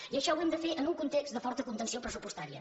i això ho hem de fer en un context de forta contenció pressupostària